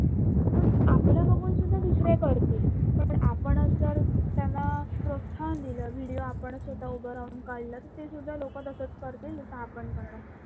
आपलं बघून सुद्धा दुसरे करतील, तसेच आपणच जर त्यांना प्रोत्साहन दिल video आपण जर स्वतः उभा राहून काढला तर ते सुद्धा लोक तसाच करतील जस आपण करणार